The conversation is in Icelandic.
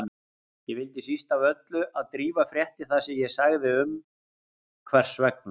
Ég vildi síst af öllu að Drífa frétti það sem ég sagði um hvers vegna